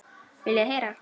Viljið þið heyra?